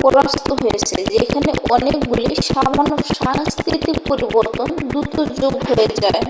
পরাস্থ হয়েছে যেখানে অনেকগুলি সামান্য সাংস্কৃতিক পরিবর্তন দ্রুত যোগহয়ে যায়